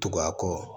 Tugun a kɔ